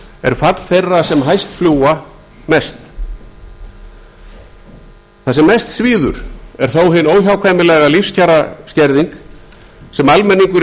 er fall þeirra sem hæst fljúga mest það sem mest svíður er þó hin óhjákvæmilega lífskjaraskerðing sem almenningur í